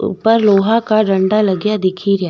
ऊपर लोहा का डंडा लागिया दिखेरा।